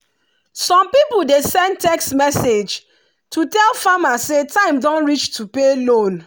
some people dey send text message to tell farmer say time don reach to pay loan.